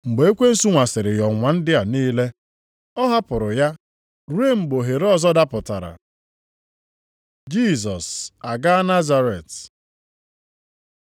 Mgbe ekwensu nwasịrị ya ọnwụnwa ndị a niile, ọ hapụrụ ya ruo mgbe ohere ọzọ dapụtara. Jisọs agaa Nazaret